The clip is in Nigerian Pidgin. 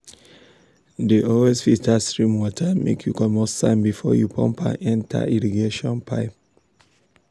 dey always filter stream water make you comot sand before you pump am enter irrigation pipe.